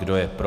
Kdo je pro?